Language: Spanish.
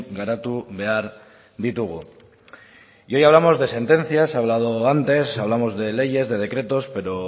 garatu behar ditugu y hoy hablamos de sentencias ha hablado antes hablamos de leyes de decretos pero